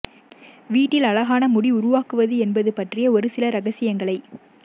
வீட்டில் அழகான முடி உருவாக்குவது என்பது பற்றிய ஒரு சில இரகசியங்களை